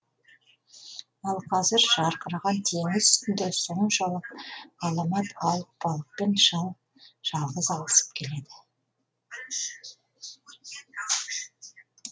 ал қазір жарқыраған теңіз үстінде соншалық ғаламат алып балықпен шал жалғыз алысып келеді